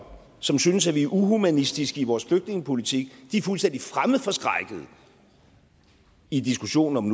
som synes at vi ikke er humanistiske i vores flygtningepolitik er fuldstændig fremmedforskrækkede i diskussionen om